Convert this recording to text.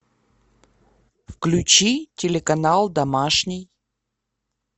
включи телеканал домашний